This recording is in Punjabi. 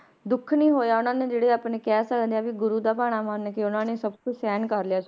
ਦੁੱਖ ਨੀ ਹੋਇਆ ਉਹਨਾਂ ਨੇ ਜਿਹੜੇ ਆਪਣੇ ਕਹਿ ਸਕਦੇ ਹਾਂ ਵੀ ਗੁਰੂ ਦਾ ਭਾਣਾ ਮੰਨ ਕੇ ਉਹਨਾਂ ਨੇ ਸਭ ਕੁਛ ਸਹਿਣ ਕਰ ਲਿਆ ਸੀ